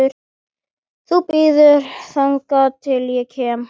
Þú bíður þangað til ég kem!